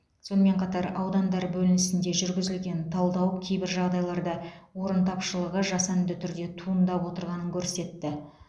сонымен қатар аудандар бөлінісінде жүргізілген талдау кейбір жағдайларда орын тапшылығы жасанды түрде туындап отырғанын көрсетті